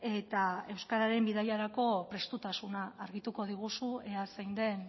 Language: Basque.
eta euskararen bidaiarako prestutasuna argituko diguzu ea zein den